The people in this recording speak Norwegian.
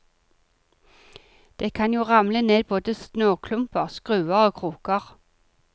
Det kan jo ramle ned både snøklumper, skruer og kroker.